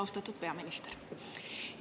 Austatud peaminister!